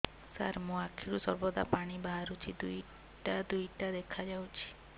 ସାର ମୋ ଆଖିରୁ ସର୍ବଦା ପାଣି ବାହାରୁଛି ଦୁଇଟା ଦୁଇଟା ଦେଖାଯାଉଛି